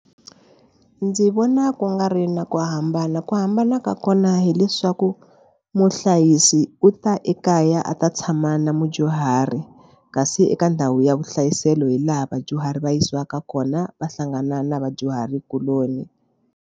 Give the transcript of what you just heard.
Ndzi vona ku nga ri na ku hambana ku hambana ka kona hileswaku muhlayisi u ta ekaya a ta tshama na mudyuhari kasi eka ndhawu ya vuhlayiselo hi laha vadyuhari va yisiwaka kona va hlangana na vadyuhari kuloni.